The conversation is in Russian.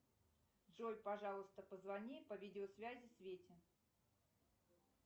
джой пожалуйста позвони по видеосвязи свете